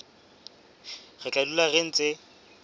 re tla dula re ntse